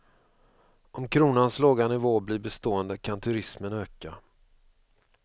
Om kronans låga nivå blir bestående kan turismen öka.